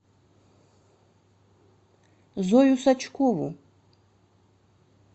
зою сачкову